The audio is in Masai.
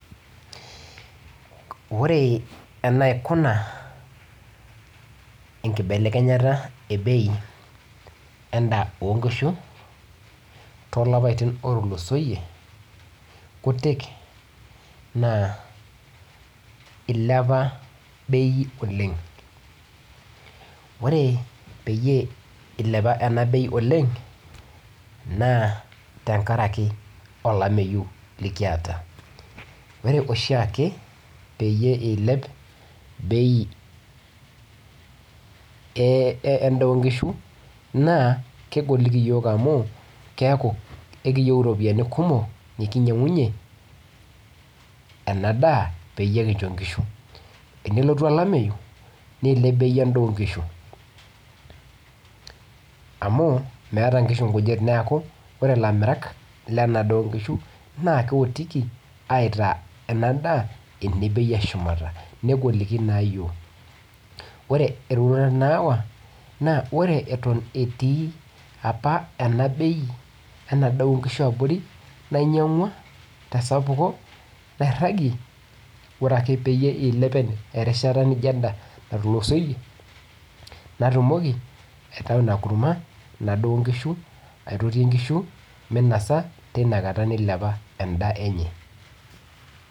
Ore enaikuna enkibelekenyata ebeu endaa onkishu tolapaitin otulusoitie na ilepa bei oleng ore peyieul ilepa enabei oleng na tenkaraki olameyu likiata ore oshiake peyie ilep bei endaa onkishu keaku ekiyieu ropiyani kumok nikinyangunye endaa peyie kincho nkishu tenelotu olameyu nilep endaa onkishu amu neaku orre lamirak lendaa onkishu na keotiki aitaa ena daa enoropiyani eshumata negoliki naa yiok na lre atan etii enabei endaa onkishu abornainyangua tesapuko nairagie ore pengasa aidip erishata nijo ena nasieki inadaa onkushu minosa tinakata nailepa endaa enye.